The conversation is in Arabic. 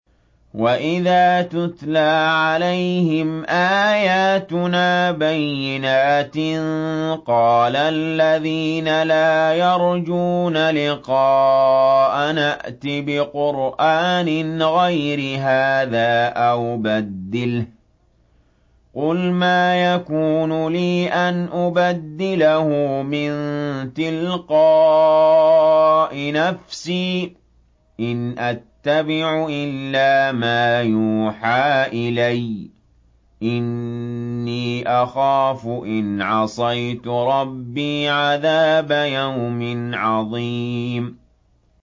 وَإِذَا تُتْلَىٰ عَلَيْهِمْ آيَاتُنَا بَيِّنَاتٍ ۙ قَالَ الَّذِينَ لَا يَرْجُونَ لِقَاءَنَا ائْتِ بِقُرْآنٍ غَيْرِ هَٰذَا أَوْ بَدِّلْهُ ۚ قُلْ مَا يَكُونُ لِي أَنْ أُبَدِّلَهُ مِن تِلْقَاءِ نَفْسِي ۖ إِنْ أَتَّبِعُ إِلَّا مَا يُوحَىٰ إِلَيَّ ۖ إِنِّي أَخَافُ إِنْ عَصَيْتُ رَبِّي عَذَابَ يَوْمٍ عَظِيمٍ